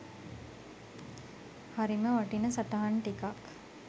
හරිම වටින සටහන් ටිකක්